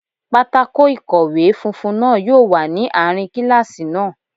Pátákó ikowe funfun náà yóò wà ní àárín kíláàsì náà